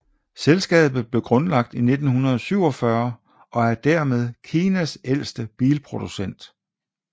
Selskabet blev grundlagt i 1947 og er dermed Kinas ældste bilproducent